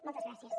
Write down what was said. moltes gràcies